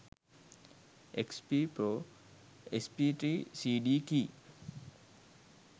xp pro sp3 cd key